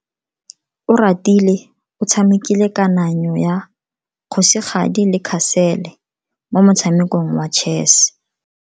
Oratile o tshamekile kananyo ya kgosigadi le khasolo mo motshamekong wa chess.